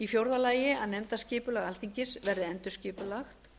fjórði að nefndaskipulag alþingis verði endurskipulagt